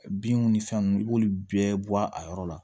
Binw ni fɛn nunnu i b'olu bɛɛ bɔ a yɔrɔ la